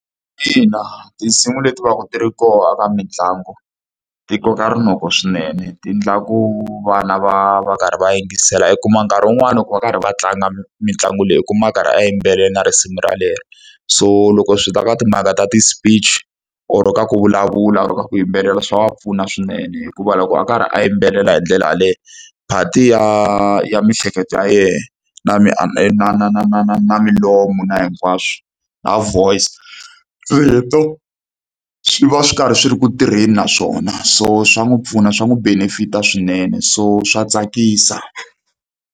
Ina tinsimu leti va ka ti ri kona ka mitlangu, ti koka rinoko swinene. Ti endlaku vana va va karhi va yingisela. I kuma nkarhi wun'wani ku va karhi va tlanga mitlangu leyi u kuma a karhi a yimbelela risimu relero. So loko swi ta ka timhaka ta ti-speech or ka ku vulavula or ku yimbelela swa wa pfuna swinene. Hikuva loko a karhi a yimbelela hi ndlela yaleyo, part-a ya ya miehleketo ya yena na na na na na na na na milomo na na hinkwaswo, na voice, swi va swi karhi swi ri ku tirheni na swona, so swa n'wi pfuna swa n'wi benefit-a swinene. So swa tsakisa.